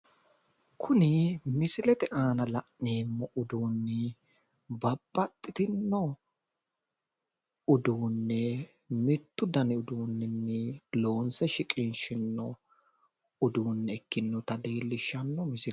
kuni misilete aana la'neemmo uduunni babbaxitinno uduunne mittu daninni loonse shiqinshoonniha ikkitinota leellishshanno misileeti.